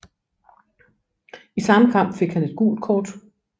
I samme kamp fik han et gult kort